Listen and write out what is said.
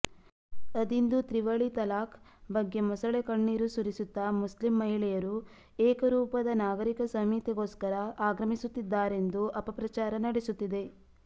ಅದಿಂದು ತ್ರಿವಳಿ ತಲಾಖ್ ಬಗ್ಗೆ ಮೊಸಳೆಕಣ್ಣೀರು ಸುರಿಸುತ್ತಾ ಮುಸ್ಲಿಂ ಮಹಿಳೆಯರು ಏಕರೂಪದ ನಾಗರಿಕ ಸಂಹಿತೆಗೋಸ್ಕರ ಆಗ್ರಹಿಸುತ್ತಿದ್ದಾರೆಂದು ಅಪಪ್ರಚಾರ ನಡೆಸುತ್ತಿದೆ